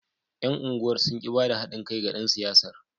Yan unguwar sun ki ba da hadin kai da dan siyasar.